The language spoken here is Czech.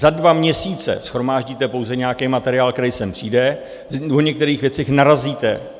Za dva měsíce shromáždíte pouze nějaký materiál, který sem přijde, u některých věcí narazíte.